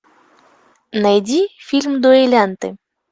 найди фильм дуэлянты